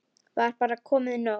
Var bara komið nóg?